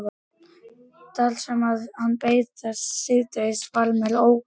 Þar sem ég beið hans síðdegis varð mér órótt.